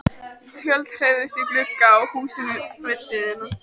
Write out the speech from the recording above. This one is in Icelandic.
Tjöld hreyfðust í glugga á húsinu við hliðina.